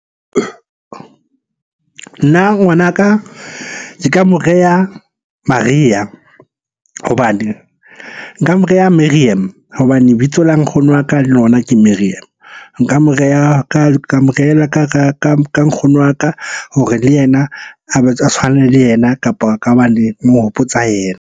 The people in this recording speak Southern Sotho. Nna ngwanaka ke ka mo reha Maria hobane, nka mo reha Merriam hobane lebitso la nkgono wa ka le lona ke Merriam. Nka mo reha ka mo rehella ka nkgono wa ka hore le yena a tshwane le yena, kapo mo hopotsa yena.